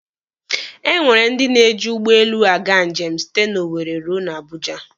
E nwere ndị na-eji ụgbọelu aga njem site na Owere ruo na Abuja.